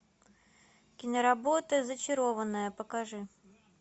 киноработа зачарованная покажи